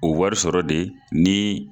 O wari sɔrɔ de ni